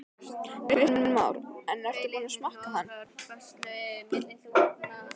Kristján Már: En ertu búinn að smakka hann?